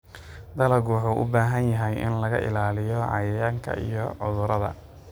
Dalaggu wuxuu u baahan yahay in laga ilaaliyo cayayaanka iyo cudurrada.